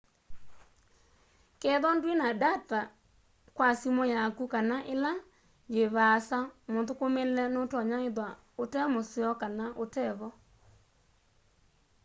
kethwa ndwina ndata kwa simu yaku kana ila yi vaasa muthukumile nutonya ithwa ute museo kana utevo